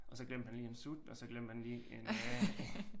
Og så glemte han lige en sut og så glemte han lige en øh